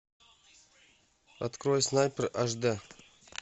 открой снайпер аш д